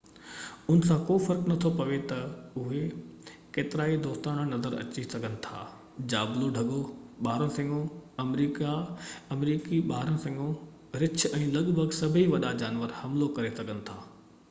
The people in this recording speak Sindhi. ان سان ڪو فرق نٿو پوي تي اهي ڪيترائي دوستاڻا نظر اچي سگهن ٿا جابلو ڍڳو ٻارانهن سڱو آمريڪي ٻارانهن سڱو رڇ ۽ لڳ ڀڳ سڀئي وڏا جانور حملو ڪري سگهن ٿا